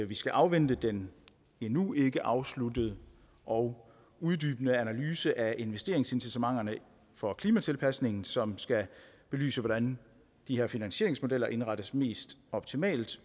vi skal afvente den endnu ikke afsluttede og uddybende analyse af investeringsincitamenterne for klimatilpasningen som skal belyse hvordan de her finansieringsmodeller indrettes mest optimalt